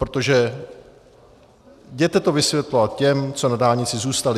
Protože jděte to vysvětlovat těm, co na dálnici zůstali.